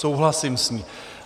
Souhlasím s ní.